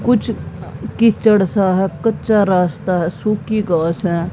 कुछ कीचड़ सा है कच्चा रास्ता है सुखी घास है।